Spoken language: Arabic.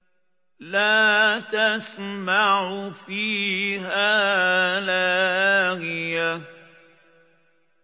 لَّا تَسْمَعُ فِيهَا لَاغِيَةً